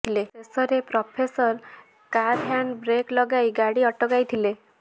ଶେଷରେ ପ୍ରଫେସର କାର୍ର hand brake ଲଗାଇ ଗାଡ଼ି ଅଟକାଇଥିଲେ